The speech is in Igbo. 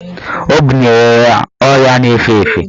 Ọ bunyere ya ọrịa na-efe efe.